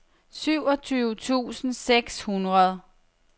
syvogtyve tusind seks hundrede